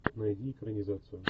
найди экранизацию